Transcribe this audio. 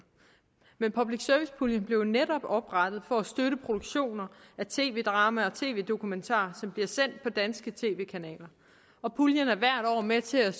men public service puljen blev jo netop oprettet for at støtte produktioner af tv drama og tv dokumentar som bliver sendt på danske tv kanaler og puljen er hvert år med til at